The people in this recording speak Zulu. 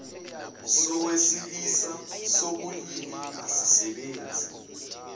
sowesilisa sobulili asisebenzi